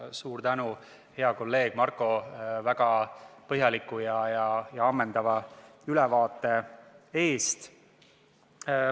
Suur tänu, hea kolleeg Marko, väga põhjaliku ja ammendava ülevaate eest!